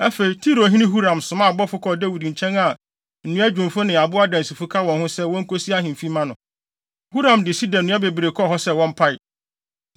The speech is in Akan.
Afei, Tirohene Huram somaa abɔfo kɔɔ Dawid nkyɛn a nnua dwumfo ne abo adansifo ka wɔn ho sɛ wonkosi ahemfi mma no. Huram de sida nnua bebree kɔɔ hɔ sɛ wɔmpae.